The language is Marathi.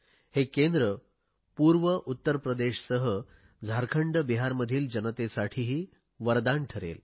हे केंद्र पूर्व उत्तर प्रदेशसह झारखंडबिहारमधील जनतेसाठीही वरदान ठरेल